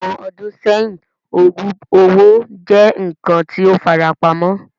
Awọn ọdun sẹhin, oogub owo jẹ nkan ti o farapamọ